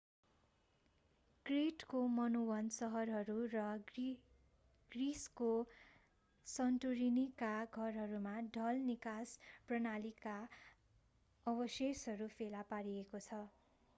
क्रेटको Minoan सहरहरू र ग्रिसको सान्टोरिनीका घरहरूमा ढल निकास प्रणालीका अवशेषहरू फेला पारिएको छ